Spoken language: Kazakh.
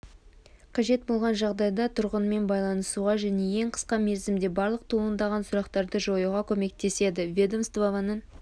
қажет болған жағдайда тұрғынмен байланысуға және ең қысқа мерзімде барлық туындаған сұрақтарды жоюға көмектеседі ведомствоның